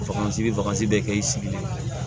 Bagan i bɛ bagaji bɛɛ kɛ i sigilen